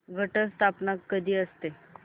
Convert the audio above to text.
घट स्थापना कधी असते